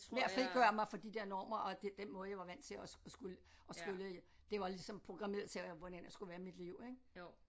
Med at frigøre mig fra de der normer og det den måde jeg var vant til at skulle at skulle det var ligesom programmeret til hvordan jeg skulle være i mit liv ik